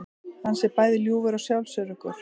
Hann sé bæði ljúfur og sjálfsöruggur